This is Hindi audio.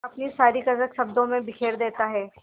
अपनी सारी कसक शब्दों में बिखेर देता है